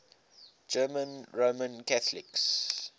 german roman catholics